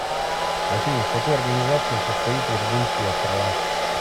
афина в какой организации состоит вирджинские острова